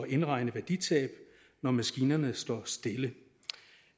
indregne værditab når maskinerne står stille